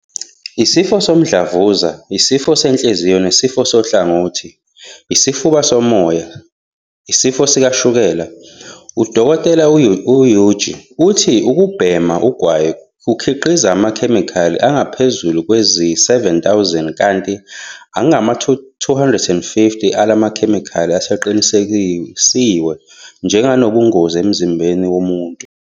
Isifo somdlavuza Isifo senhliziyo nesifo sohlangothi Isifuba somoya Isifo sikashukela. U-Dkt. u-Egbe uthi ukubhema ugwayi kukhiqiza amakhemikhali angaphezulu kwezi-7 000, kanti angama-250 alamakhemikhali aseqinisekiswe njenganobungozi emzimbeni womuntu.